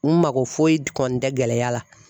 N mako foyi kɔni tɛ gɛlɛya la